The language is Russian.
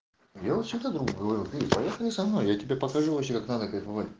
лева чем то говорит поехали со мной я тебе покажу вам как надо говорить